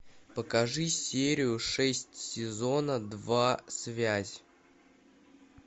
покажи серию шесть сезона два связь